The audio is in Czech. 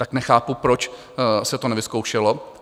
Tak nechápu, proč se to nevyzkoušelo.